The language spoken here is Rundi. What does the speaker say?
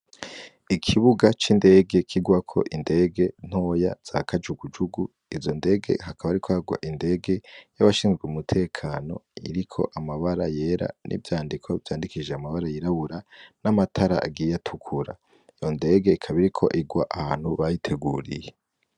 Ikibuga c'indege kirwako indege ntoya za kajugujugu, izo ndege hakaba hariko hagwa indege y'abashinzwe umutekano iriko amabara yera n'ivyandiko vyandikishije amabara yirabura n'amatara agiye atukura, iyo ndege ikaba iriko irwa ahantu bayiteguriye.